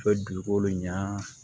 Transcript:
U bɛ dugukolo ɲa